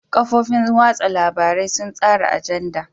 Kafofin watsa labarai sun tsara ajanda.